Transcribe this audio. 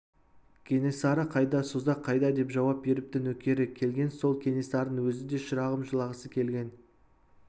кенесары қайда созақ қайда деп жауап беріпті нөкері келген сол кенесарының өзі десе шырағым жылағысы келген